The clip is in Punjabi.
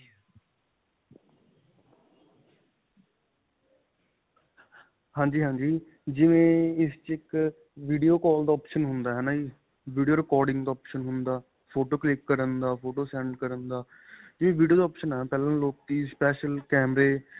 ਹਾਂਜੀ, ਹਾਂਜੀ. ਜਿਵੇਂ ਇਸ ਵਿੱਚ ਇੱਕ video ਕਾਲ ਦਾ option ਹੁੰਦਾ. ਹੈ ਨਾਂ ਜੀ video recording ਦਾ option ਹੁੰਦਾ, ਫੋਟੋ ਕਲਿਕ ਕਰਨ ਦਾ, ਫੋਟੋ send ਕਰਨ ਦਾ video ਦਾ option ਹੈ ਪਹਿਲਾਂ ਲੋਕੀ special ਕੈਮਰੇ.